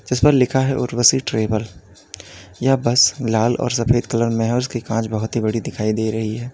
जिस पर लिखा है उर्वशी ट्रैवल यह बस लाल और सफ़ेद कलर में है और इसकी कांच बहुत ही बड़ी दिखाई दे रही है।